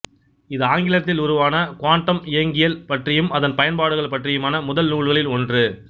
இது ஆங்கிலத்தில் உருவான குவாண்டம் இயங்கியல் பற்றியும் அதன் பயன்பாடுகளும் பற்றியுமான முதல் நூல்களில் ஒன்று